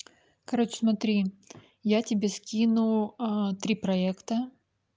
короче смотри я тебе скину а три проекта